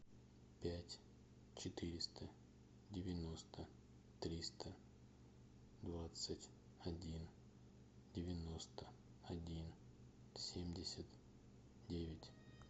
пять четыреста девяносто триста двадцать один девяносто один семьдесят девять